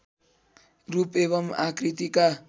रूप एवं आकृतिका